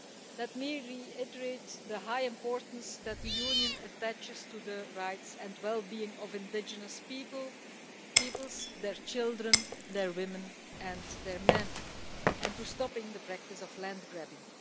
Let me reiterate the high importance that the European Union attaches to the rights and well being of indigenous peoples their children, their women and their men and to stopping the practice of land grabbing.